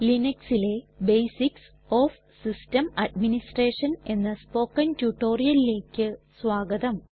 ലിനക്സിലെ basics of system administration എന്ന spoken റ്റുറ്റൊരിയലിലെക് സ്വാഗതം